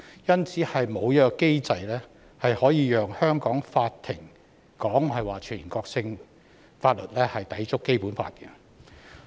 因此，沒有機制可以讓香港法庭裁定全國性法律抵觸《基本法》。